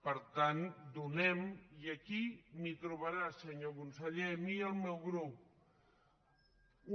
per tant donem i aquí m’hi trobarà senyor conseller a mi i el meu grup